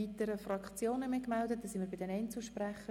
Wir kommen zu den Einzelsprechern.